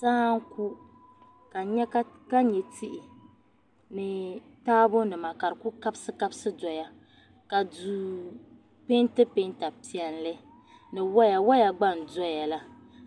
,Saa n-ku ka nya tihi ni taabɔ nima. ka di ku kabsikabs doya ka duu pɛnti. pɛɛ nta piɛli. niweya. weya gba ndoyala